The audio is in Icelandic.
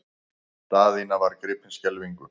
Daðína var gripin skelfingu.